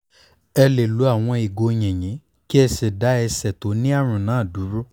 ẹ lè lo àwọn ìgò yìnyín kí ẹ sì dá ẹsẹ̀ tó ní àrùn náà dúró